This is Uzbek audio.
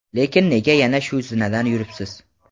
lekin nega yana shu zinadan yuribsiz?.